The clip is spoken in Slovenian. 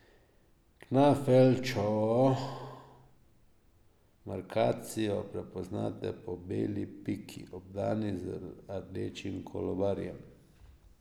Knafelčevo markacijo prepoznate po beli piki, obdani z rdečim kolobarjem.